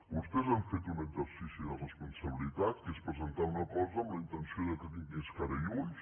vostès han fet un exercici de responsabilitat que és presentar una cosa amb la intenció que tingués cara i ulls